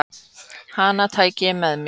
Hana tæki ég með mér.